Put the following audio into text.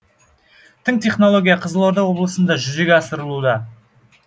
тың технология қызылорда облысында жүзеге асырылуда